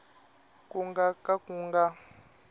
ku nga ka ku nga